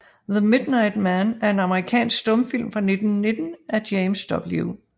The Midnight Man er en amerikansk stumfilm fra 1919 af James W